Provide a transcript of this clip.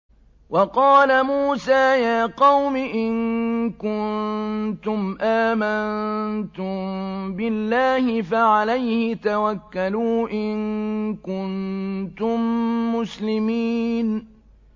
وَقَالَ مُوسَىٰ يَا قَوْمِ إِن كُنتُمْ آمَنتُم بِاللَّهِ فَعَلَيْهِ تَوَكَّلُوا إِن كُنتُم مُّسْلِمِينَ